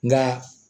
Nka